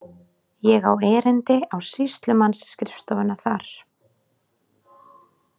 Ég á erindi á sýslumannsskrifstofuna þar.